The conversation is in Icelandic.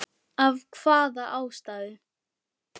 Af hvaða ástæðu?